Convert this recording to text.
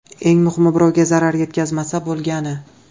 Eng muhimi, birovga zarar yetkazmasa bo‘lgani.